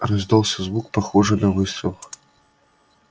раздался звук похожий на выстрел